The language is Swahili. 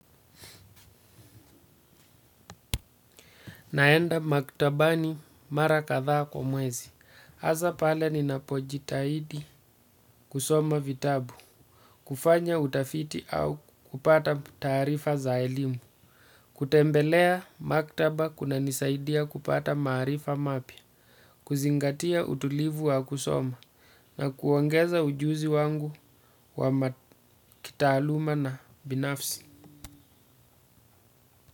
Naenda maktabani mara kadhaa kwa mwezi. Hasa pale ninapojitahidi kusoma vitabu. Kufanya utafiti au kupata taarifa za elimu. Kutembelea maktaba kunanisaidia kupata maarifa mapya. Kuzingatia utulivu wa kusoma. Na kuongeza ujuzi wangu wa kitaluma na binafsi.